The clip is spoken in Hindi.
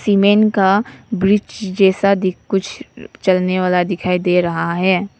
सीमेंट का ब्रिज जैसा दिख कुछ चलने वाला दिखाई दे रहा है।